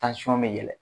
bɛ yɛlɛn